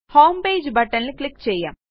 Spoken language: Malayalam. ഹോംപേജ് buttonൽ ക്ലിക്ക് ചെയ്യാം